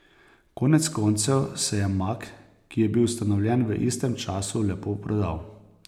Konec koncev se je Mag, ki je bil ustanovljen v istem času, lepo prodal.